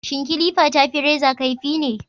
Shin kilifa ta fi reza kaifi ne?